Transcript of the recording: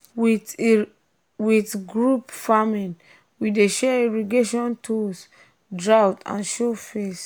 with group um farming we dey share irrigation tools when um drought show face.